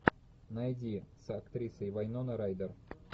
найди с актрисой вайнона райдер